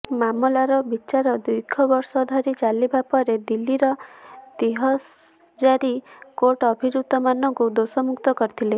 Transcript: ମାମଲାର ବିଚାର ଦୀର୍ଘ ବର୍ଷ ଧରି ଚାଲିବା ପରେ ଦିଲ୍ଲୀର ତିସହଜାରି କୋର୍ଟ ଅଭିଯୁକ୍ତମାନଙ୍କୁ ଦୋଷମୁକ୍ତ କରିଥିଲେ